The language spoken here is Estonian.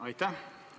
Aitäh!